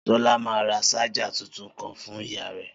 Solá ma ra ṣájà tuntun kan fun ìyá rẹ̀